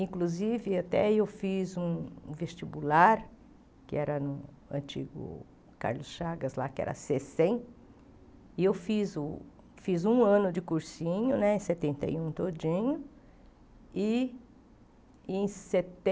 Inclusive, até eu fiz um um vestibular, que era no antigo Carlos Chagas, lá que era cê cem, e eu fiz um ano de cursinho, em setenta e um todinho, e em